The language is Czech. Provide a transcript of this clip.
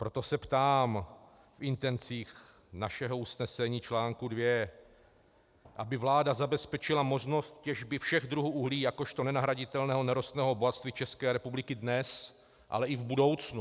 Proto se ptám v intencích našeho usnesení, článku 2, aby vláda zabezpečila možnost těžby všech druhů uhlí jakožto nenahraditelného nerostného bohatství České republiky dnes, ale i v budoucnu.